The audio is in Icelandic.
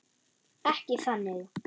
Ekki þannig.